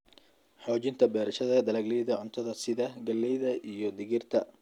Xoojinta beerashada dalagyada cuntada sida galleyda iyo digirta.